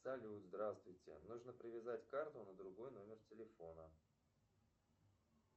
салют здравствуйте нужно привязать карту на другой номер телефона